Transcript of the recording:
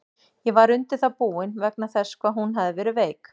Ég var undir það búinn, vegna þess hvað hún hafði verið veik.